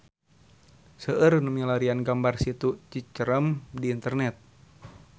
Seueur nu milarian gambar Situ Cicerem di internet